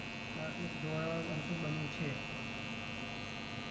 નાટુ જોડાવા અન્તુગ બન્યું છે.